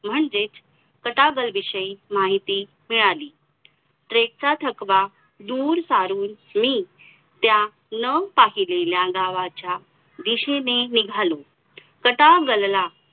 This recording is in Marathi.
आपून ब बोलतो की महिला अप आतापर्यंत स्वतंत्राच्या अगोदर